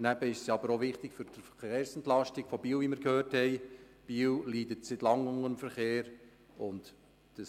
Wie wir gehört haben, ist es für die Verkehrsentlastung von Biel wichtig, da die Stadt seit Langem unter dem Verkehr leidet.